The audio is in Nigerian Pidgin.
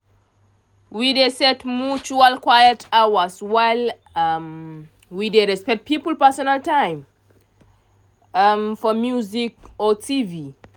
we dey set mutual quiet hours while um we dey respect people personal time um for music or tv.